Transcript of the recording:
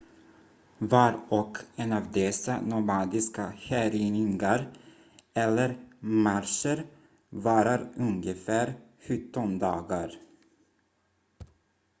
var och en av dessa nomadiska härjningar eller marscher varar ungefär 17 dagar